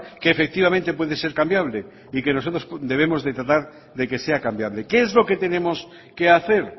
que efectivamente puede ser cambiable y que nosotros debemos de tratar de que sea cambiable qué es lo que tenemos que hacer